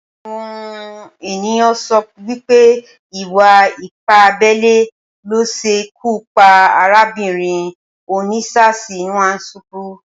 Awọn éniyàn n sọ wìpé ìwá ìpá àbẹlé ló ṣé ikù pà àrábinrín Ósinaṣi Nwánṣùkù